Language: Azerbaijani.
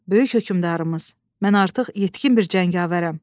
Böyük hökümdarımız, mən artıq yetkin bir cəngavərəm.